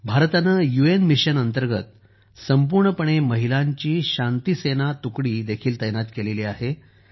भारताने UN mission अंतर्गत संपूर्णपणे महिलांची अशी एक तुकडी देखील तैनात केली आहे